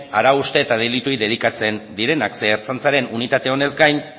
arau hauste eta delituei dedikatzen direnak zeren ertzaintzaren unitate honez gain